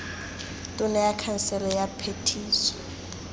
tona ya khansele ya phetiso